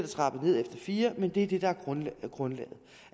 trappet ned efter fire år men det er det der er grundlaget